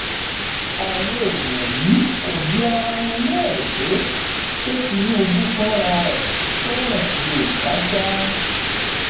àwọn èèyàn yìí kò bi ara wọn léèrè pé ṣé tinubu fúnra ẹ fẹràn yorùbá sá